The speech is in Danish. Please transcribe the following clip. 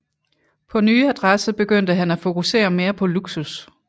På nye adresse begyndte han at fokusere mere på luksus